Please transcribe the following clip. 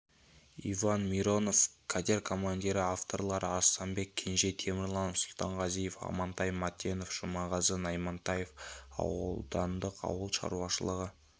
иван миронов катер командирі авторлары арыстанбек кенже темірлан сұлтанғазиев амантай матенов жұмағазы наймантаев аудандық ауыл шаруашылығы